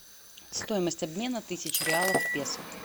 стоимость обмена тысячи реалов в песо